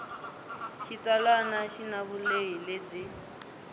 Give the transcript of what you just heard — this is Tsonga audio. xitsalwana xi na vulehi lebyi